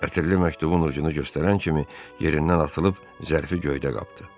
Ətirli məktubun ucunu göstərən kimi yerindən atılıb zərfi göydə qapdı.